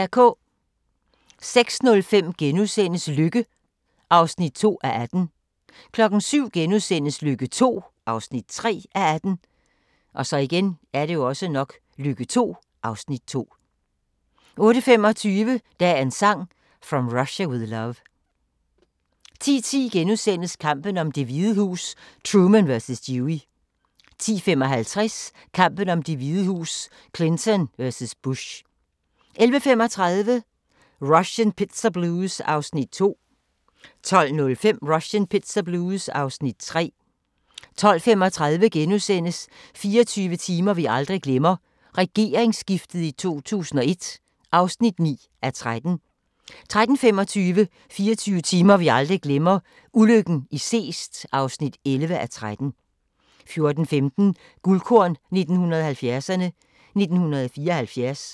06:05: Lykke (2:18)* 07:00: Lykke II (3:18)* 08:25: Dagens Sang: From Russia With Love 10:10: Kampen om Det Hvide Hus: Truman vs. Dewey * 10:55: Kampen om Det Hvide Hus: Clinton vs. Bush 11:35: Russian Pizza Blues (Afs. 2) 12:05: Russian Pizza Blues (Afs. 3) 12:35: 24 timer vi aldrig glemmer – regeringsskiftet i 2001 (9:13)* 13:25: 24 timer vi aldrig glemmer – ulykken i Seest (11:13) 14:15: Guldkorn 1970'erne: 1974